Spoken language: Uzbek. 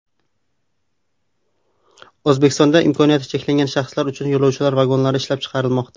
O‘zbekistonda imkoniyati cheklangan shaxslar uchun yo‘lovchi vagonlari ishlab chiqarilmoqda.